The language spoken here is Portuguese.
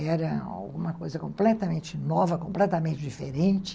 Era alguma coisa completamente nova, completamente diferente.